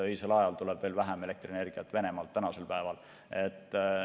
Öisel ajal tuleb praegu veel vähem elektrienergiat Venemaalt.